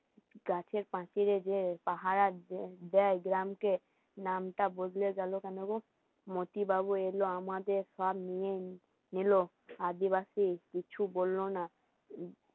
গাছের পাঁচিলে যে পাহারা দেয় গ্রামকে নামটা বদলে গেল কেন গো? মতি বাবু এলো আমাদের সব নেই নিলো আদিবাসী কিছু বললো না